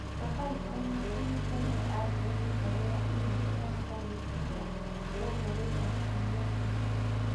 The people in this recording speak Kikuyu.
Safaricom nĩ ĩhingũrire andirethi njerũ ya e-mail ya salim ĩrĩa yongereirũo Kiumia kĩu